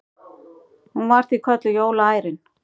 Hún var því kölluð jólaærin.